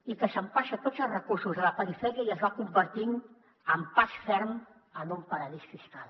i que s’empassa tots els recursos de la perifèria i es va convertint amb pas ferm en un paradís fiscal